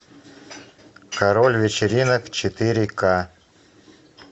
король вечеринок четыре ка